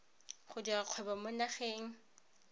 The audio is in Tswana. go dira kgwebo mo nageng